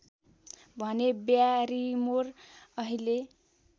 भने ब्यारिमोर अहिले